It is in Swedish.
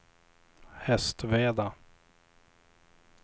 Hästveda